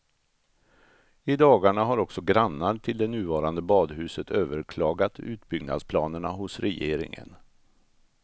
I dagarna har också grannar till det nuvarande badhuset överklagat utbyggnadsplanerna hos regeringen.